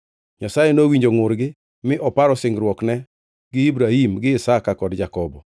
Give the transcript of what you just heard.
Nyasaye nowinjo ngʼurgi mi oparo singruokne gi Ibrahim gi Isaka kod Jakobo.